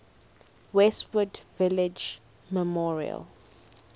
westwood village memorial